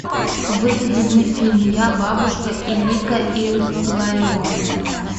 выведи мне фильм я бабушка илико и илларион